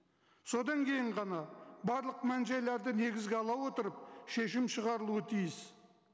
содан кейін ғана барлық мән жайларды негізге ала отырып шешім шығарылуы тиіс